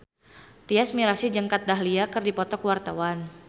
Tyas Mirasih jeung Kat Dahlia keur dipoto ku wartawan